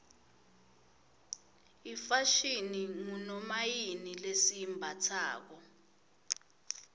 ifashini ngunomayini lesiyimbatsalo